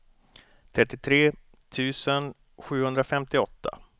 trettiotre tusen sjuhundrafemtioåtta